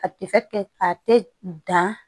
Ka kɛ a tɛ dan